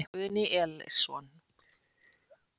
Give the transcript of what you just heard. Guðni Elísson.